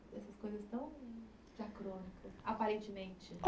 Essas coisas tão diacrônicas, aparentemente.